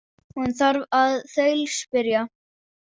Hún þarf að þaulspyrja.